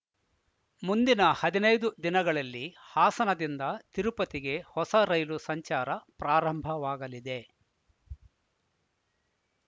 ಮುಂದಿನ ಹದಿನೈದು ದಿನಗಳಲ್ಲಿ ಹಾಸನದಿಂದ ತಿರುಪತಿಗೆ ಹೊಸ ರೈಲು ಸಂಚಾರ ಪ್ರಾರಂಭವಾಗಲಿದೆ